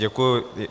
Děkuji.